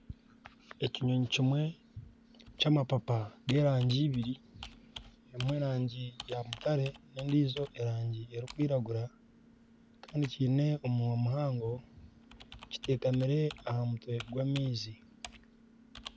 Ekinyonyi kimwe kyamapapa g'erangi ibiri. Emwe erangi ya mutare, n'endijo erangi erikwiragura kiine omunwa muhango kitekamire aha mutwe gw'amaizi.